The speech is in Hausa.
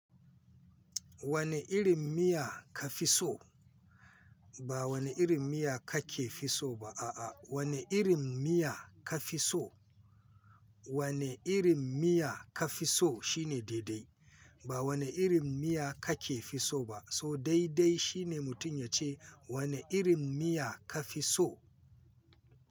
Wane irin miya ka fi so? Ba wane irin miya kake fi so ba. A'a, wane irin miya ka fi so? Wane irin miya ka fi so shine daidai. Ba wane irin miya kake fi so ba, so daidai shine mutum ya ce wane irin miya ka fi so.